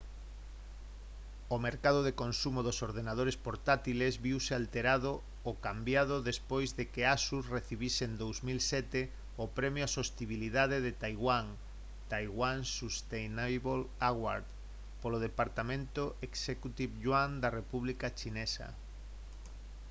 o mercado de consumo dos ordenadores portátiles viuse alterado o cambiado despois de que asus recibise en 2007 o premio á sostibilidade de taiwán taiwan sustainable award polo departamento executive yuan da república chinesa